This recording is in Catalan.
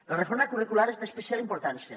la reforma curricular és d’especial importància